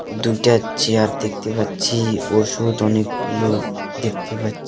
দুইটা চেয়ার দেখতে পাচ্ছি ওষুধ অনেকগুলো দেখতে পাচ্ছি .